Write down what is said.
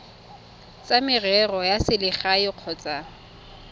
tsa merero ya selegae kgotsa